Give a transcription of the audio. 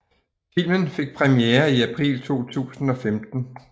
Filmen fik premiere i april 2015